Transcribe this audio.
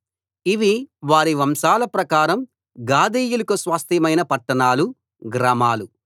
ఇవీ వారి వంశాల ప్రకారం గాదీయులకు స్వాస్థ్యమైన పట్టణాలు గ్రామాలు